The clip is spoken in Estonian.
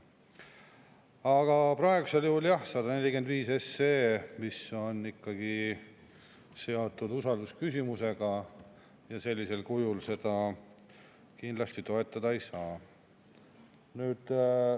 Aga praegusel juhul, jah, 145 SE on ikkagi seotud usaldusküsimusega ja sellisel kujul seda kindlasti toetada ei saa.